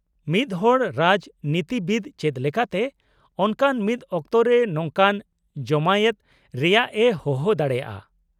-ᱢᱤᱫᱦᱚᱲ ᱨᱟᱡᱽᱱᱤᱛᱤᱵᱤᱫ ᱪᱮᱫ ᱞᱮᱠᱟᱛᱮ ᱚᱱᱠᱟᱱ ᱢᱤᱫᱴᱟᱝ ᱚᱠᱛᱚ ᱨᱮ ᱱᱚᱝᱠᱟᱱ ᱡᱚᱢᱟᱭᱮᱛ ᱨᱮᱭᱟᱜ ᱮ ᱦᱚᱦᱚ ᱫᱟᱲᱮᱭᱟᱜᱼᱟ ?